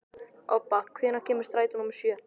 Obba, hvenær kemur strætó númer sjö?